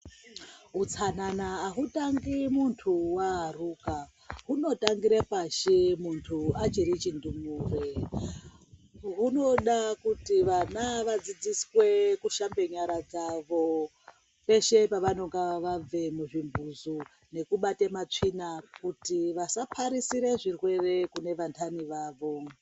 Utsanana hautangi muntu waaruka. Unotangira pashi muntu achiri chindumure. Hunoda kuti vana vadzidziswe kushamba nyara dzavo peshe pavanenge vabva muzvimbuzi nekubate matsvina kuti vasapararise zvirwere kune vantani vavo.